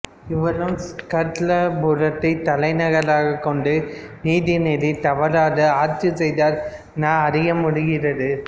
இவரும் ஸ்கந்தபுரத்தை தலைநகராகக் கொண்டு நீதி நெறி தவறாது ஆட்சி செய்தார் என அறியமுடிகிறது